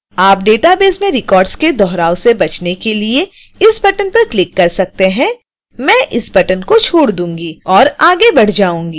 आप database में records के दोहराव से बचने के लिए इस बटन पर क्लिक कर सकते हैं